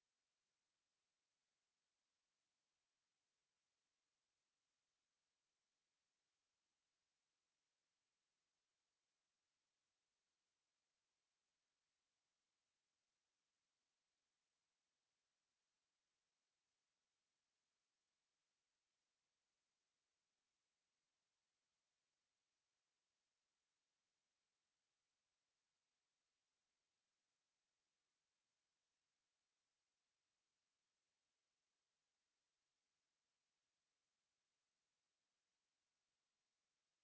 to